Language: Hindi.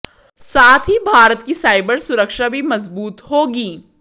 साथ ही भारत की साइबर सुरक्षा भी मजबूत होगी